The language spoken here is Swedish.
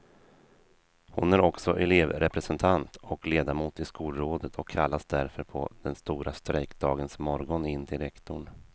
Hon är också elevrepresentant och ledamot i skolrådet och kallades därför på den stora strejkdagens morgon in till rektorn.